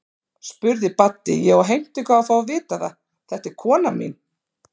spurði Baddi, ég á heimtingu á að fá að vita það, þetta er konan mín.